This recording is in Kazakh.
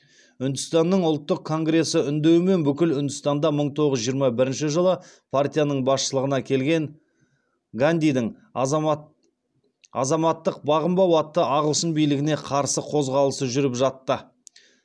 үндістанның ұлттық конгресі үндеуімен бүкіл үндістанда мың тоғыз жүз жиырма бірінші жылы партияның басшылығына келген гандидің азаматтық бағынбау атты ағылшын билігіне қарсы қозғалысы жүріп жатты